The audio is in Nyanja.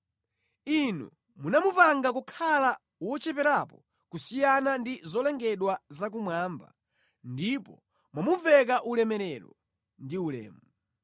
Inu munamupanga kukhala wocheperapo kusiyana ndi zolengedwa zakumwamba ndipo mwamuveka ulemerero ndi ulemu.